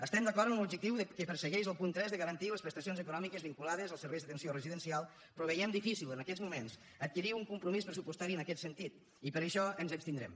estem d’acord amb l’objectiu que persegueix el punt tres de garantir les prestacions econòmiques vinculades al servei d’atenció residencial però veiem difícil en aquests moments adquirir un compromís pressupostari en aquest sentit i per això ens abstindrem